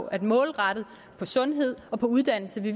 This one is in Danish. at målrette det sundhed og uddannelse det